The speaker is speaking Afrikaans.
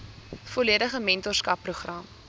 volledige mentorskap program